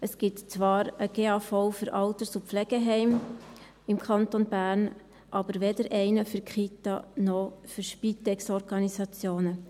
Es gibt im Kanton Bern zwar einen GAV für Alters- und Pflegeheime, aber weder einen für Kitas noch für Spitex-Organisationen.